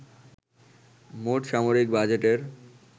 মোট সামরিক বাজেটের